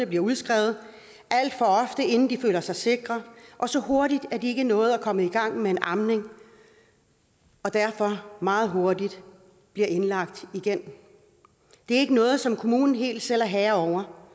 bliver udskrevet inden de føler sig sikre og så hurtigt at de ikke nåede at komme i gang med amning derfor blive meget hurtigt indlagt igen det er ikke noget som kommunen helt selv er herre over